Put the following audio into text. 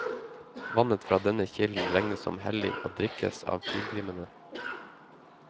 Vannet fra denne kilden regnes som hellig og drikkes av pilegrimene.